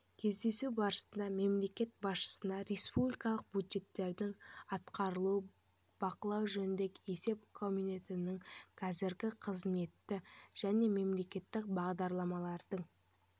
кездесу барысында мемлекет басшысына республикалық бюджеттің атқарылуын бақылау жөніндегі есеп комитетінің қазіргі қызметі және мемлекеттік бағдарламалардың